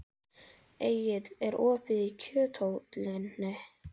Engill, er opið í Kjöthöllinni?